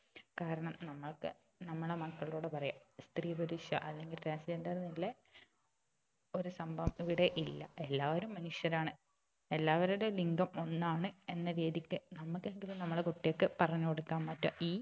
കാരണം നമ്മൾക്ക് നമ്മളെ മക്കളോട് പറയാ സ്ത്രീ പുരുഷ അല്ലങ്കില് transgender ന്നുള്ള ഒരു സംഭവം ഇവിടെ ഇല്ല എല്ലാവരും മനുഷ്യരാണ് എല്ലാവരുടെയും ലിംഗം ഒന്നാണ് എന്ന രീതിക്ക് നമ്മക്കെങ്കിലും നമ്മളെ കുട്ടികൾക്ക് പറഞ്ഞു കൊടുക്കാൻ പറ്റാ ഈ